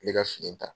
N bɛ ka fini ta